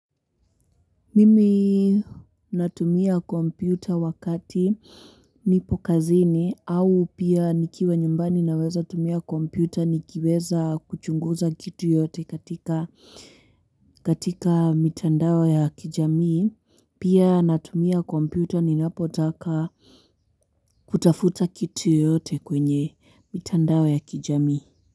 Mimi natumia kompyuta wakati nipo kazini au pia nikiwa nyumbani naweza tumia kompyuta nikiweza kuchunguza kitu yote katika mitandao ya kijamii pia natumia kompyuta ninapotaka kutafuta kitu yoyote kwenye mitandao ya kijamii.